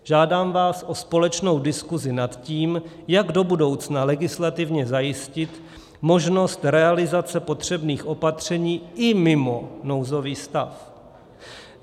Žádám vás o společnou diskusi nad tím, jak do budoucna legislativně zajistit možnost realizace potřebných opatření i mimo nouzový stav.